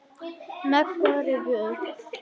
Mega rifja upp.